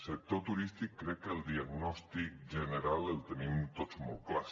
sector turístic crec que el diagnòstic general el tenim tots molt clar